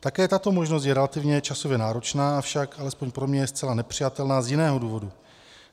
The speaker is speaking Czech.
Také tato možnost je relativně časově náročná, avšak alespoň pro mě je zcela nepřijatelná z jiného důvodu.